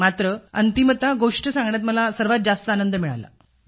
मात्र अंतिमतः गोष्टी सांगण्यात मला सर्वात जास्त आनंद मिळाला